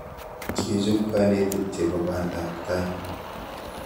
Kechop kanetik chepo panda ap tai